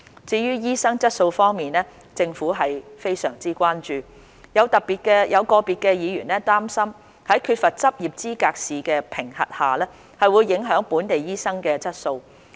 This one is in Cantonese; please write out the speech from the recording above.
至於醫生的質素方面，政府是非常關注，有個別議員擔心在缺乏執業資格試的評核下，會影響本地醫生的質素。